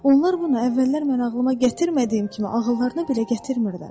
Onlar bunu əvvəllər mən ağlıma gətirmədiyim kimi, ağıllarına belə gətirmirlər.